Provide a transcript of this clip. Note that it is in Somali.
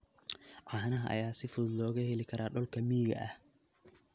Caanaha ayaa si fudud looga heli karaa dhulka miyiga ah.